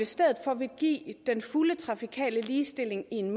stedet for vil give den fulde trafikale ligestilling i en